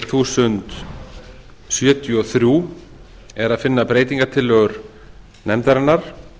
þúsund sjötíu og þrjú er að finna breytingartillögur nefndarinnar